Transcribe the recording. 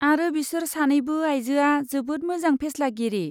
आरो बिसोर सानैबो आइजोआ जोबोद मोजां फेस्लागिरि।